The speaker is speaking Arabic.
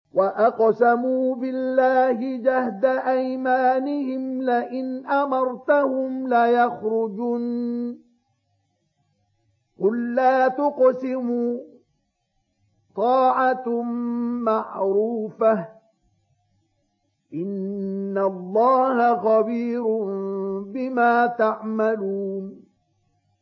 ۞ وَأَقْسَمُوا بِاللَّهِ جَهْدَ أَيْمَانِهِمْ لَئِنْ أَمَرْتَهُمْ لَيَخْرُجُنَّ ۖ قُل لَّا تُقْسِمُوا ۖ طَاعَةٌ مَّعْرُوفَةٌ ۚ إِنَّ اللَّهَ خَبِيرٌ بِمَا تَعْمَلُونَ